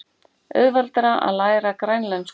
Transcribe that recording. Auðveldara að læra grænlensku